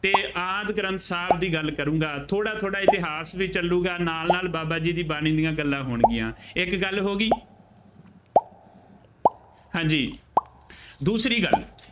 ਅਤੇ ਆਦਿ ਗ੍ਰੰਥ ਸਾਹਿਬ ਦੀ ਗੱਲ ਕਰੂੰਗਾ। ਥੋੜ੍ਹਾ ਥੋੜ੍ਹਾ ਇਤਿਹਾਸ ਵੀ ਚੱਲੂਗਾ ਨਾਲ ਨਾਲ ਬਾਬਾ ਜੀ ਦੀ ਬਾਣੀ ਦੀਆਂ ਗੱਲਾਂ ਹੋਣਗੀਆਂ। ਇੱਕ ਗੱਲ ਹੋ ਗਈ। ਹਾਂਜੀ ਦੂਸਰੀ ਗੱਲ